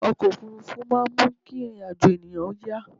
ọkọ̀ òfurufú máà ń mú kí ìrìn àjọ̀ ènìyàn yá